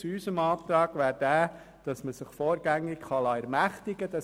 Gemäss unserem Antrag kann man sich allerdings vorgängig ermächtigen lassen.